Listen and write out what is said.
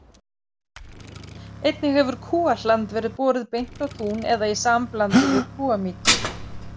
Einnig hefur kúahland verið borið beint á tún eða í samblandi við kúamykju.